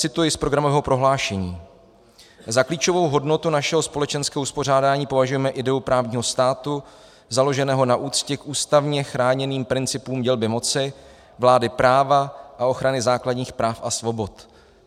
Cituji z programového prohlášení: "Za klíčovou hodnotu našeho společenského uspořádání považujeme ideu právního státu založeného na úctě k ústavně chráněným principům dělby moci, vlády práva a ochrany základních práv a svobod.